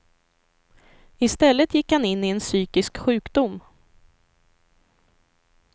I stället gick han in i en psykisk sjukdom.